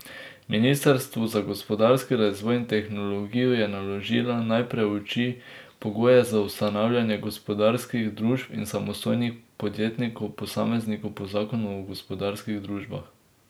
Ministrstvu za gospodarski razvoj in tehnologijo je naložila, naj preuči pogoje za ustanavljanje gospodarskih družb in samostojnih podjetnikov posameznikov po zakonu o gospodarskih družbah.